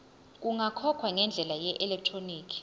kungakhokhwa ngendlela yeelektroniki